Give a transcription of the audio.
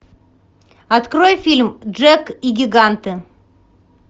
открой фильм джек и гиганты